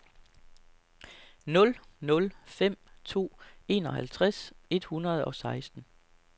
nul nul fem to enoghalvtreds et hundrede og seksten